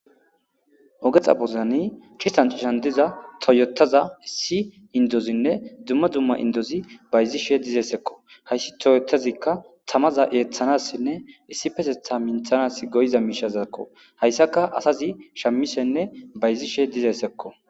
Oge xaphozani citan citan diza toyyotaza issi indozi dumma dumma indozi bayzishe dizayssako hayssi toyyotazika tamaza eethanasinne issipetetha minthanas go'iza miishezako haysaka asazi shamishenne bayzishe dizayssako.